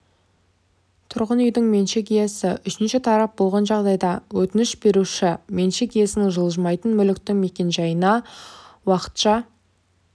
тұрғын үйдің меншік иесі үшінші тарап болған жағдайда өтініш беруші меншік иесінің жылжымайтын мүліктің мекенжайын уақытша